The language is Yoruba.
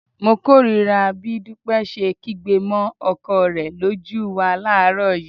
Mo kórìíra bí Dúpẹ́ ṣe kígbe mọ́ ọkọ rẹ lójú wa láàárọ̀ yìí